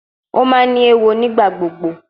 O ma ni ewo nigbagbogbo